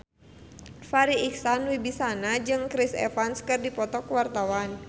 Farri Icksan Wibisana jeung Chris Evans keur dipoto ku wartawan